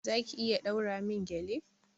Za ki iya ɗaura min gƴale?